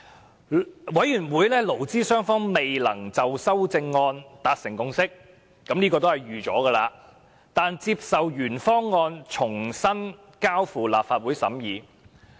在勞顧會的討論中，勞資雙方未能就修正案達成共識——這是意料中事——但接受將原方案重新交付立法會審議。